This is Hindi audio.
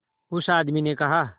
उस आदमी ने कहा